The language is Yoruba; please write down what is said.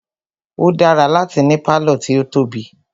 O dára láti ní pálọ̀ tí o tóbi.